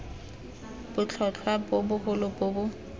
botlhotlhwa bo bogolo bo bo